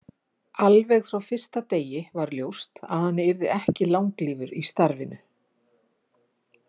Alveg frá fyrsta degi var ljóst að hann yrði ekki langlífur í starfinu.